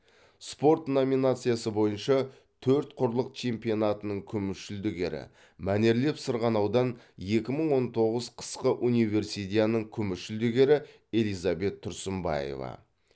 спорт номинациясы бойынша төрт құрлық чемпионатының күміс жүлдегері мәнерлеп сырғанаудан екі мың он тоғыз қысқы универсидианың күміс жүлдегері элизабет тұрсынбаева